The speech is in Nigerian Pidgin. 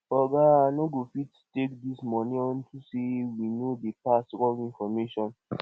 oga i no go fit take dis money unto say we no dey pass wrong information